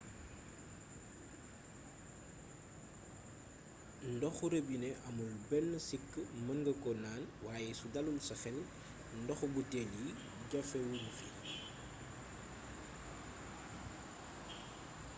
ndoxo robinet amul benn sikk mën nga ko naan waaye su dalul sa xel ndoxu buteel yi jafe wuñu fi